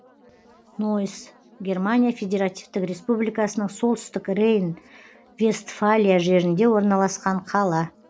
нойс германия федеративтік республикасының солтүстік рейн вестфалия жерінде орналасқан қала